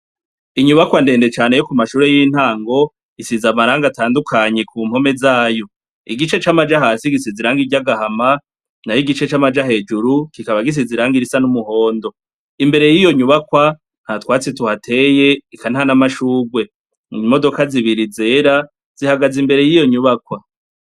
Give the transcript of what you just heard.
Inyubakwa ndende cane yo ku mashure y'intango isize amarangi atandukanye ku mpome zayo. Igice c'amaja hasi gisize irangi ry'agahama, nayo igice c'amaja hejuru kikaba gisize irangi risa n'umuhondo. Imbere y'iyo nyubakwa nta twatsi tuhateye, eka nta na mashure. Imodoka zibiri zera zihagaze imbere y'iyo nyubakwa.